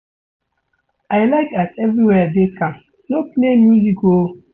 I like as everywhere dey calm, no play music o.